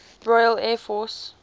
royal air force